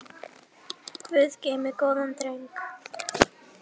Guð geymi góðan dreng.